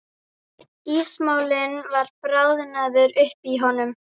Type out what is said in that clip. Ísmolinn var bráðnaður upp í honum.